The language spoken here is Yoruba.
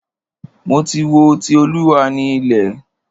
Mo ti wo "Ti Olúwa ni ilẹ̀".